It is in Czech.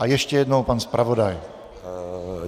A ještě jednou pan zpravodaj.